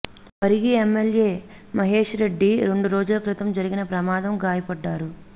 Parigi MLA Mahesh Reddy రెండు రోజుల క్రితం జరిగిన ప్రమాదం గాయపడ్డారు